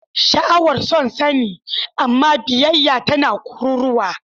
Sha'awar son sani, amma biyayya tana kururuwa.